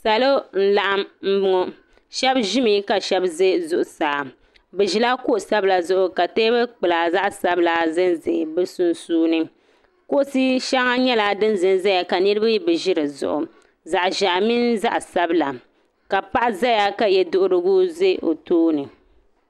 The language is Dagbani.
Salo n laɣim ŋɔ shɛba zimi ka shɛba zaya zuɣusaa bi zila kuɣu sabila zuɣu ka tɛɛbuli kpula zaɣi sabila za n zaya sunsuuni kuɣusi shɛŋa nyɛla dini za n zaya ka niriba bi zi di zuɣu zaɣi zɛhi mini zaɣi sabila ka paɣa zaya ka yiɛduhirigu bɛ dini.